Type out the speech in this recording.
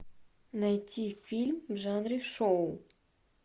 найти фильм в жанре шоу